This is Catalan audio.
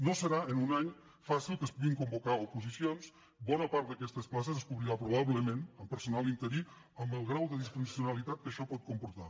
no serà en un any fàcil que es puguin convocar oposicions bona part d’aquestes places es cobriran probablement amb personal interí amb el grau de disfuncionalitat que això pot comportar